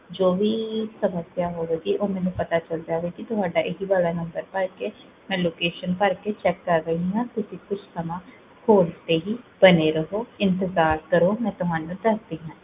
ਜੋ ਵੀ ਸਮਸਿਆ ਹੋਵੇਗੀ, ਓਹ ਮੈਨੂ ਪਤਾ ਚਲ ਜਾਵੇਗਾ, ਕੀ ਤੁਹਾਡਾ ਇਹੀ ਵਾਲਾ ਨੁਮ੍ਬਰ ਭਰ ਕੇ, ਮੈਂ location ਭਰ ਕੇ ਚੇਕ ਕਰ ਰਹੀ ਹਾਂ ਤੁਸੀਂ ਕੁਛ ਸਮਾਂ ਹੋਲਡ ਤੇ ਹੀ ਬਣੇ ਰਹੋ, ਇੰਤੇਜ਼ਾਰ ਕਰੋ, ਮੈਂ ਤੁਹਾਨੂ ਦਸਦੀ ਹਾਂ